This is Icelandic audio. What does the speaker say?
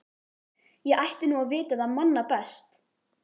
Ég ætti nú að vita það manna best.